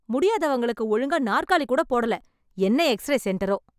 முடியாதவங்களுக்கு ஒழுங்கா நாற்காலி கூட போடல என்ன எக்ஸ்ரே செண்டரோ